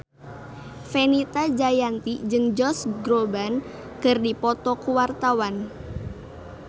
Fenita Jayanti jeung Josh Groban keur dipoto ku wartawan